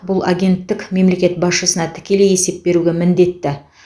бұл агенттік мемлекет басшысына тікелей есеп беруге міндетті